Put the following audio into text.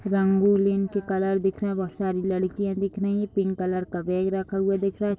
रंगोलिन के कलर दिख रहा। बहोत सारी लड़किया दिख रही हैं। पिंक कलर का बैग रखा हुआ दिख रहा है।